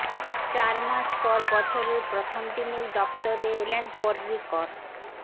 চার মাস পর বছরের প্রথম দিনেই দপ্তরে এলেন পর্রিকর